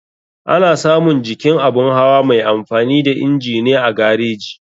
Ana samun jikin abun hawa mai amfani da inji ne a gareji.